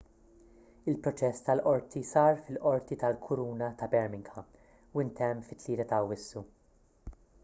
il-proċess tal-qorti sar fil-qorti tal-kuruna ta' birmingham u ntemm fit-3 ta' awwissu